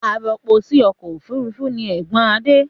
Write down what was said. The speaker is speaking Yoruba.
Arọpo sí ọkọ̀ òfurufú ni ẹ̀gbọ́n Adé.